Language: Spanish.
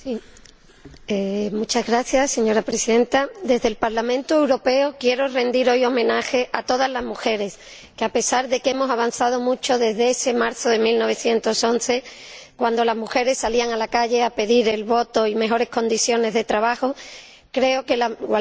Señora Presidenta, desde el Parlamento Europeo quiero rendir hoy homenaje a todas las mujeres porque, a pesar de que hemos avanzado mucho desde ese marzo de 1911-cuando las mujeres salían a la calle a pedir el voto y mejores condiciones de trabajo−, creo que la igualdad de la mujer está aún muy lejos.